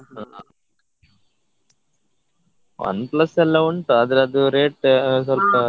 ಹಾ ಹಾ OnePlus ಎಲ್ಲ ಉಂಟು ಆದ್ರೆ ಅದು rate ಸ್ವಲ್ಪ.